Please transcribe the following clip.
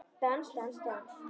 Dans, dans, dans.